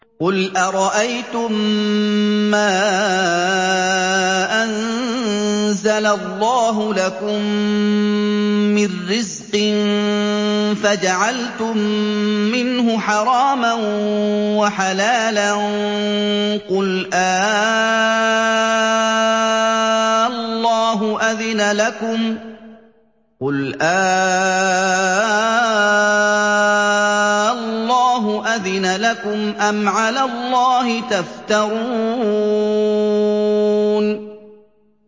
قُلْ أَرَأَيْتُم مَّا أَنزَلَ اللَّهُ لَكُم مِّن رِّزْقٍ فَجَعَلْتُم مِّنْهُ حَرَامًا وَحَلَالًا قُلْ آللَّهُ أَذِنَ لَكُمْ ۖ أَمْ عَلَى اللَّهِ تَفْتَرُونَ